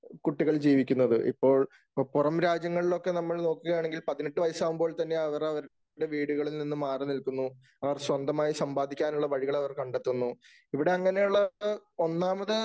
കുട്ടികൾ ജീവിക്കുന്നത്. ഇപ്പോൾ. പുറം രാജ്യങ്ങളിലൊക്കെ നമ്മൾ നോക്കുകയാണെങ്കിൽ പതിനെട്ടു വയസാകുമ്പോൾ തന്നെ അവർ അവരുടെ വീടുകളിൽ നിന്നും മാറിനിൽക്കുന്നു. അവർ സ്വന്തമായി സമ്പാദിക്കാനുള്ള വഴികൾ അവർ കണ്ടെത്തുന്നു. ഇവിടെ അങ്ങനെയുള്ള ഒന്നാമത്